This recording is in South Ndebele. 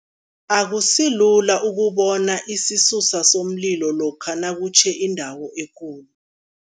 Akusilula ukubona isisusa somlilo lokha nakutjhe indawo ekulu.